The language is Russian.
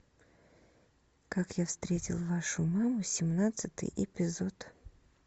как я встретил вашу маму семнадцатый эпизод